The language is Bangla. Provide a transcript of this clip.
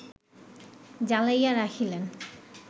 জ্বালাইয়া রাখিলেন